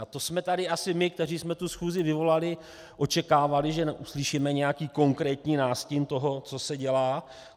A to jsme tady asi my, kteří jsme tu schůzi vyvolali, očekávali, že uslyšíme nějaký konkrétní nástin toho, co se dělá.